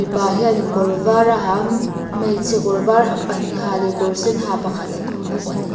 pa hianin kawr var a ha a hmeichhe kawrvar pahnih ha leh kawr sen ha pakhat an awm bawk ani.